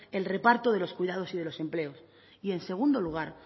el reparto de los cuidados y de los empleos y en segundo lugar